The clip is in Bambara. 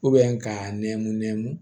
k'a nɛɛ munɛ mun